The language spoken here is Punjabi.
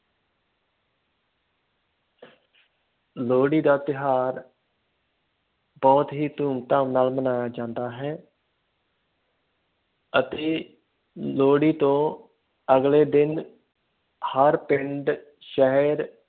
ਲੋਹੜੀ ਦਾ ਤਿਉਹਾਰ ਬਹੁਤ ਹੀ ਧੂਮ ਧਾਮ ਨਾਲ ਮਨਾਇਆ ਜਾਂਦਾ ਹੈ ਅਤੇ ਲੋਹੜੀ ਤੋਂ ਅਗਲੇ ਦਿਨ ਹਰ ਪਿੰਡ, ਸ਼ਹਿਰ,